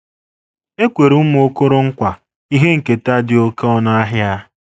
E kwere ụmụ Okoronkwa ihe nketa dị oké ọnụ ahịa